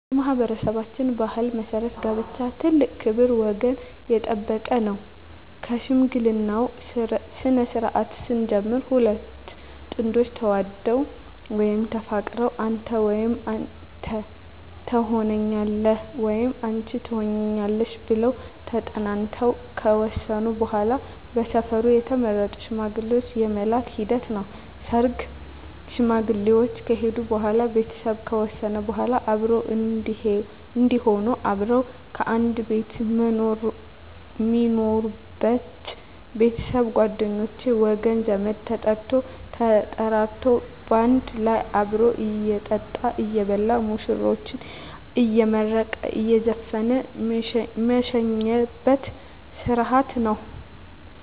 በማኅበረሠባችን ባሕል መሠረት ጋብቻ ትልቅ ክብር ወገን የጠበቀ ነው ከሽምግልናው ስነስርዓት ስንጀምር ሁለት ጥንዶች ተዋደው ወይም ተፋቅረው አንተ ወይም አንተ ተሆነኛለህ ወይም አንች ትሆኝኛለሽ ብለው ተጠናንተው ከወሰኑ በዋላ በሰፈሩ የተመረጡ ሽማግሌዎች የመላክ ሂደት ነው ሰርግ ሽማግሌዎች ከሄዱ በዋላ ቤተሰብ ከወሰነ በዋላ አብሮ እዴሆኑ አብረው ከአንድ ቤት ሜኖሩበች ቤተሰብ ጓደኞቼ ወገን ዘመድ ተጠርቶ ተጠራርቶ ባንድ ላይ አብሮ እየጠጣ እየበላ ሙሽራዎችን አየመረቀ እየዘፈነ ሜሸኝበት ስረሀት ነው